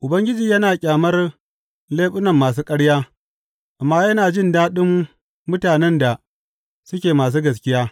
Ubangiji yana ƙyamar leɓunan masu ƙarya, amma yana jin daɗin mutanen da suke masu gaskiya.